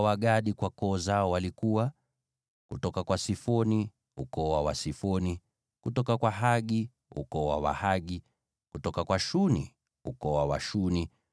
Wazao wa Gadi kwa koo zao walikuwa: kutoka kwa Sifoni, ukoo wa Wasifoni; kutoka kwa Hagi, ukoo wa Wahagi; kutoka kwa Shuni, ukoo wa Washuni;